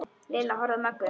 Lilla horfði á Möggu.